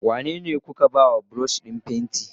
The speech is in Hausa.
Wanene kuka baiwa brush din fenti?